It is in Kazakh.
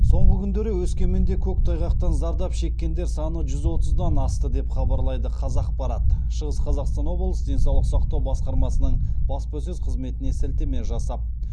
соңғы күндері өскеменде көктайғақтан зардап шеккендер саны жүз отыздан асты деп хабарлайды қазақпарат шығыс қазақстан облысы денсаулық сақтау басқармасының баспасөз қызметіне сілтеме жасап